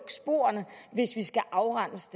sporene hvis vi skal afrense